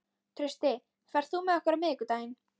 Trausti, ferð þú með okkur á miðvikudaginn?